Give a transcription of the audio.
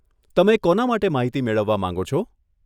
તમે કોના માટે માહિતી મેળવવા માંગો છો?